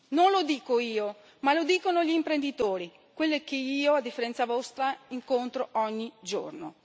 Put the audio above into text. Non lo dico io, ma lo dicono gli imprenditori, quelli che io, a differenza vostra, incontro ogni giorno.